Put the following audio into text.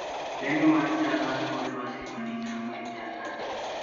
Lendo mar chal mar kor lwasi ma tich ang'wen chal nade